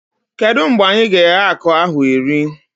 Kedụ mgbe anyị ga-eghe akụ ahụ eri?